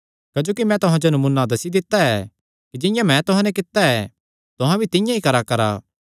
क्जोकि मैं तुहां जो नमूना दस्सी दित्ता ऐ कि जिंआं मैं तुहां नैं कित्ता ऐ तुहां भी तिंआं ई कराकरा